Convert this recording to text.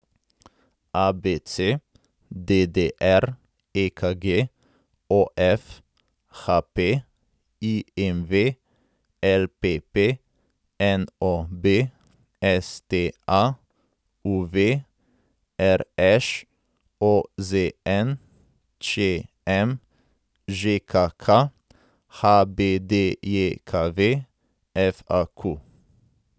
ABC, DDR, EKG, OF, HP, IMV, LPP, NOB, STA, UV, RŠ, OZN, ČM, ŽKK, HBDJKV, FAQ.